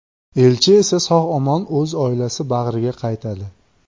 Elchi esa sog‘-omon o‘z oilasi bag‘riga qaytadi.